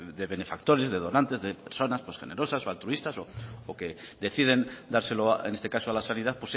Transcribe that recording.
de benefactores de donantes de personas generosas o altruistas o que deciden dárselo en este caso a la sanidad